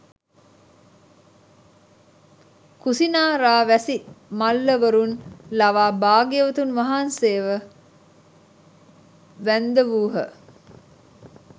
කුසිනාරාවැසි මල්ලවරුන් ලවා භාග්‍යවතුන් වහන්සේව වැන්දවූහ